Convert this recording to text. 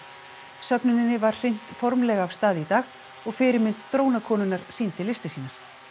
söfnuninni var hrint formlega af stað í dag og fyrirmynd sýndi listir sínar